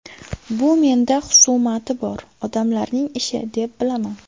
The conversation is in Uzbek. Bu menda xusumati bor odamlarning ishi, deb bilaman.